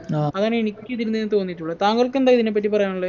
അങ്ങനെ എനിക്കിതിന് തോന്നിട്ടുള്ളെ താങ്കൾക്കെന്താ ഇതിനെപ്പറ്റി പറയാനുള്ളെ